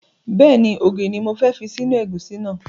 Bẹ́ẹ̀ni, ògìrì ni mo fẹ́ fi sí inú ẹ̀gúsí náà